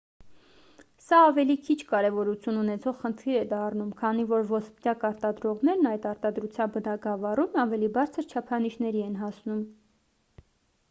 սա ավելի քիչ կարևորություն ունեցող խնդիր է դառնում քանի որ ոսպնյակ արտադրողներն այդ արտադրության բնագավառում ավելի բարձր չափանիշների են հասնում